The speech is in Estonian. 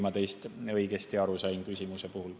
Ma ei tea, kas ma teie küsimusest õigesti aru sain.